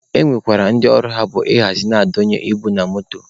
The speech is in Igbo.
E nwekwara ndị ọlụ ha bụ ị hazi na ị donye ibu na moto.